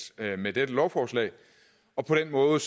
med dette lovforslag på den måde